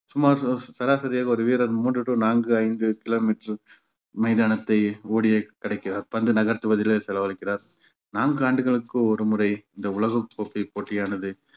சுமார் சரா~ சராசரியாக ஒரு வீரர் மூன்று to நான்கு ஐந்து kilometre மைதானத்தை ஓடியே கடக்கிறார் பந்து நகர்த்துவதிலே செலவழிக்கிறார் நான்கு ஆண்டுகளுக்கு ஒருமுறை இந்த உலகக்கோப்பை போட்டியானது